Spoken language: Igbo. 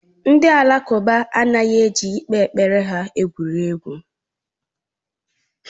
Ndị Alakụba anaghị eji ikpe kpere ha egwu egwuregwu.